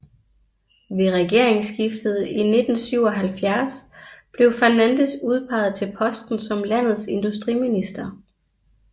Ved regeringsskiftet i 1977 blev Fernandes udpeget til posten som landets industriminister